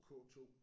K2